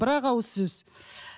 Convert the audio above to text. бір ақ ауыз сөз